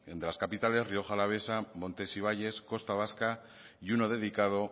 de las capitales rioja alavesa montes y valles costa vasca y uno dedicado